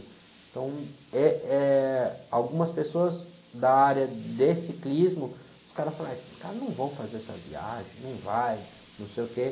Então, eh, eh, algumas pessoas da área de ciclismo, os caras falaram, ah, esses caras não vão fazer essa viagem, não vai, não sei o quê.